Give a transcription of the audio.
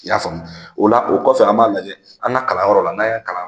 I y'a faamuya o la o kɔfɛ an b'a lajɛ an ka kalanyɔrɔla n'a ya kalan